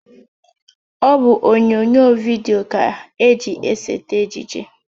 Ọ bụ onyonyo vidio ka eji esete ejije